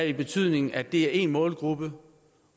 i betydningen af at det er én målgruppe